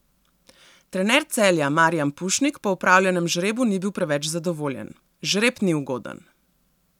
Trener Celja Marijan Pušnik po opravljenem žrebu ni bil preveč zadovoljen: 'Žreb ni ugoden.